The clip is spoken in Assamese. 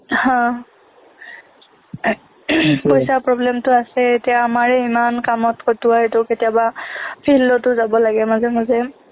হা পইচাৰ problem টো আছেই এতিয়া আমাৰেই ইমান কামত খটোৱাই কেতিয়াবা field তো যাব লাগে মাজে মাজে